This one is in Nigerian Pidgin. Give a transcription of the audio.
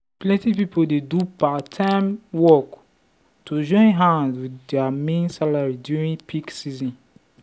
plenty people dey do part-time work to join hand with their main salary during peak season.